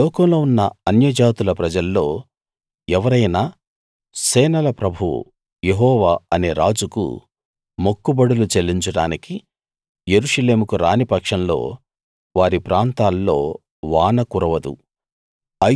లోకంలో ఉన్న అన్య జాతుల ప్రజల్లో ఎవరైనా సేనల ప్రభువు యెహోవా అనే రాజుకు మొక్కుబడులు చెల్లించడానికి యెరూషలేముకు రాని పక్షంలో వారి ప్రాంతాల్లో వాన కురవదు